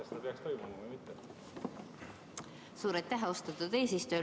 Suur aitäh, austatud eesistuja!